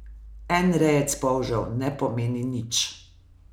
En rejec polžev ne pomeni nič.